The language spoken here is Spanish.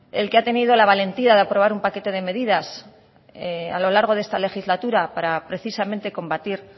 el que ha tenido la valentía de aprobar un paquete de medidas a lo largo de esta legislatura para precisamente combatir